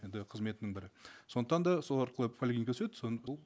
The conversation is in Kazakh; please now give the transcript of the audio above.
енді қызметінің бір сондықтан да сол арқылы поликлиникаға түседі соны бұл